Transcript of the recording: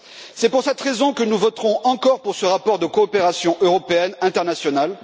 C'est pour cette raison que nous voterons encore pour ce rapport de coopération européenne internationale.